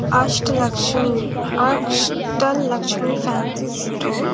अष्ट Lakshmi Ashta Lakshmi fancy store --